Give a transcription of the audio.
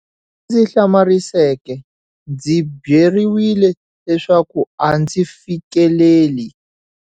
Lexi ndzi hlamariseke, ndzi byeriwile leswaku a ndzi fikeleli.